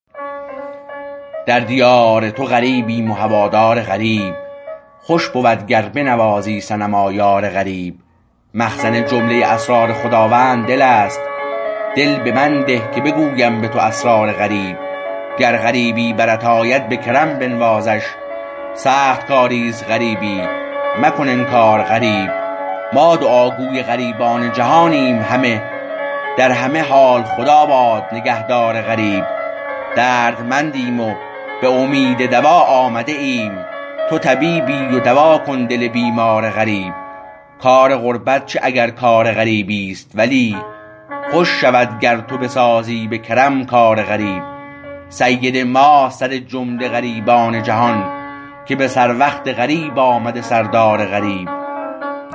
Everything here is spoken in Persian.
در دیار تو غریبیم و هوادار غریب خوش بود گر بنوازی صنما یار غریب مخزن جمله اسرار خداوند دل است دل به من ده که بگویم به تو اسرار غریب گر غریبی برت آید به کرم بنوازش سخت کاریست غریبی مکن انکار غریب ما دعاگوی غریبان جهانیم همه در همه حال خدا باد نگهدار غریب دردمندیم و به امید دوا آمده ایم تو طبیبی و دوا کن دل بیمار غریب کار غربت چه اگر کار غریبی است ولی خوش شود گر تو بسازی به کرم کار غریب سید ماست سرجمله غریبان جهان که به سر وقت غریب آمده سردار غریب